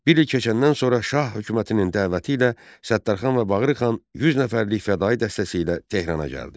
Bir il keçəndən sonra Şah hökumətinin dəvəti ilə Səttarxan və Bağırxan 100 nəfərlik fədaii dəstəsi ilə Tehrana gəldi.